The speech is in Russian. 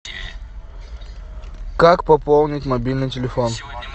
как пополнить мобильный телефон